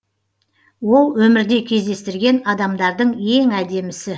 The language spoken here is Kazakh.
ол өмірде кездестірген адамдардың ең әдемісі